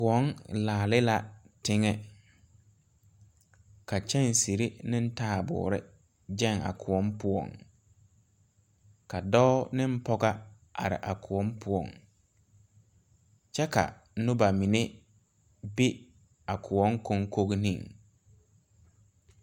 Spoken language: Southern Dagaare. Sããmo la sãã ka kõɔ gaŋ ka kyɛnserre yagre ka dɔbɔ ne pɔɔbɔ are ka dɔɔ be kõɔŋ ka pɔɔ meŋ ve a kõɔŋ ka poole a ba ka teere a are.